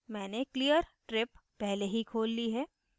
मैंने clear trip पहले ही खोल ली है